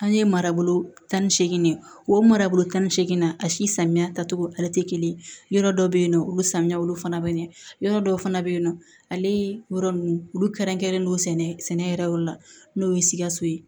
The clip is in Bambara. An ye marabolo tan ni seegin de ye o marabolo tan ni seegin na a si samiya ta togo ale te kelen ye yɔrɔ dɔw be yen nɔ olu samiyaw fana be ɲɛ yɔrɔ dɔw fana be yen nɔ ale yɔrɔ nunnu olu kɛrɛnkɛrɛnnen don sɛnɛ yɛrɛ la n'o ye sikaso ye